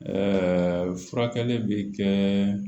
Ɛɛ furakɛli bi kɛ